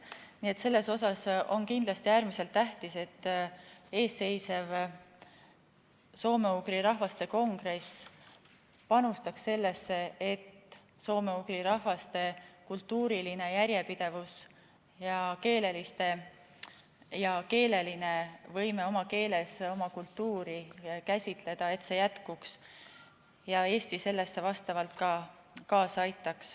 Nii et selles mõttes on kindlasti äärmiselt tähtis, et eelseisev soome-ugri rahvaste kongress panustaks sellesse, et soome-ugri rahvaste kultuuriline järjepidevus ja keeleline võime oma keeles oma kultuuri käsitleda jätkuks ning et Eesti sellele ka kaasa aitaks.